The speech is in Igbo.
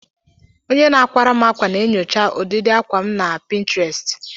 Onye na-akwara m akwa na-enyocha ụdịdi akwa na Pinterest.